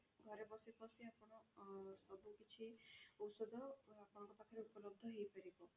ଘରେ ବସି ବସି ଆପଣ ଅ ସବୁ କିଛି ଓଷଧ ଆପଣଙ୍କ ପାଖରେ ଉପଲବ୍ଧ ହେଇ ପାରିବ।